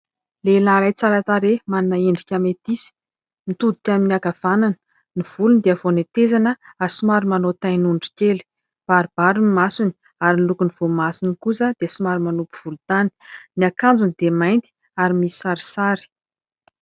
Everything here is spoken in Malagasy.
Lehilahy iray tsara tarehy, manana endrika metisy, mitodika amin'ny ankavanana. Ny volony dia vao netezana ary somary manao tain'ondry kely. Baribary ny masony ary ny lokon'ny voamasony kosa dia somary manopy volontany. Ny akanjony dia mainty ary misy sarisary.